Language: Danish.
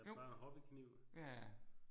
Jo ja